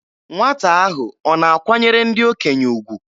Nwata ahụ ọ na-akwanyere ndị okenye ugwu?